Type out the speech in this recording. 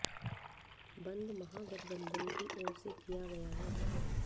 बंद महागठबंधन की ओर से किया गया है